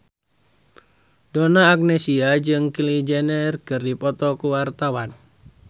Donna Agnesia jeung Kylie Jenner keur dipoto ku wartawan